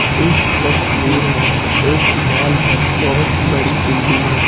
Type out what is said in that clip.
इस तस्वीर में एक मॉल है बहुत बड़ी बिल्डिंग है।